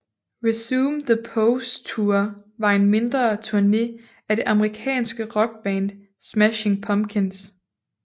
Resume the Pose Tour var en mindre turné af det amerikanske rockband Smashing Pumpkins